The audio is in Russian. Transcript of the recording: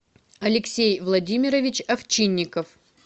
алексей владимирович овчинников